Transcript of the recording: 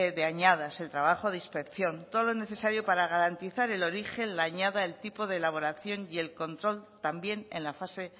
de añadas el trabajo de inspección todo lo necesario para garantizar el origen la añada el tipo de elaboración y el control también en la fase